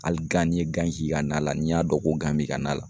Hali gan n'i ye gan k'i ka na la n'i y'a dɔn ko gan b'i ka na la